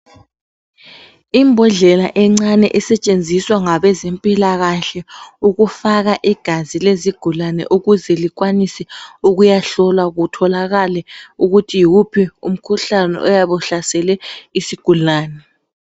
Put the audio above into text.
Imbodlela encane esetshenziswa ngabezempilakahle ukufaka igazi lezigulane ukuze likwanise ukuyahlola kutholakale ukuthi yiwuphi umkhuhlane oyabe uhlasele isigulane.